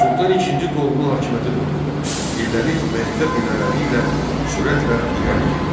Sultan İkinci Toğrulun hakimiyyəti dövründə Eldəniz vəzifə pillələri ilə sürətlə irəli getdi.